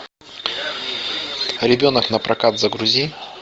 ребенок на прокат загрузи